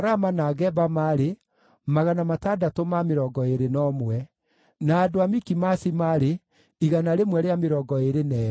Nao Alawii: arĩa maarĩ a njiaro cia Jeshua na Kadimieli (iria cioimĩte harĩ ciana cia Hodavia) maarĩ 74.